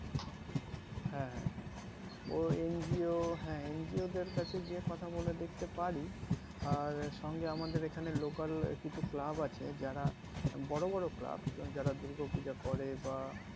হ্যাঁ হ্যাঁ হ্যাঁ তো NGO হ্যাঁ NGO দেড় কাছে গিয়ে কথা বলে দেখতে পারি আর আমাদের সঙ্গে এখানে local কিছু club আছে যারা বড়ো বড়ো club যারা দুর্গ পুজো করে বা